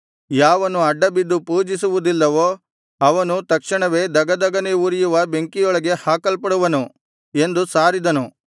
ಯಾವನು ಅಡ್ಡಬಿದ್ದು ಪೂಜಿಸುವುದಿಲ್ಲವೋ ಅವನು ತಕ್ಷಣವೇ ಧಗಧಗನೆ ಉರಿಯುವ ಬೆಂಕಿಯೊಳಗೆ ಹಾಕಲ್ಪಡುವನು ಎಂದು ಸಾರಿದನು